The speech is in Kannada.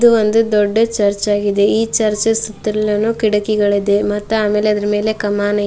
ಇದು ಒಂದು ದೊಡ್ಡ ಚರ್ಚ್ ಆಗಿದೆ ಈ ಚರ್ಚ್ ಸುತ್ತಲೂನು ಕಿಟಕಿಗಳು ಇದೇ ಮಾತು ಆಮೇಲೆ ಅದ್ರ ಮೇಲೆ ಕಾಮನ್ ಐತೆ.